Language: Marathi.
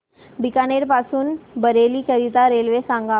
बीकानेर पासून बरेली करीता रेल्वे सांगा